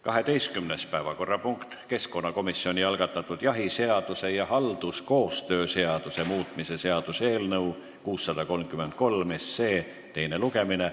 12. päevakorrapunkt: keskkonnakomisjoni algatatud jahiseaduse ja halduskoostöö seaduse muutmise seaduse eelnõu 633 teine lugemine.